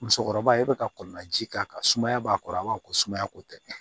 Musokɔrɔba ye e bɛ ka kɔlɔn laji k'a kanuya b'a kɔrɔ a b'a fɔ ko sumaya ko tɛ